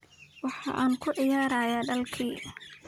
Waxan kuciyarahy dalki.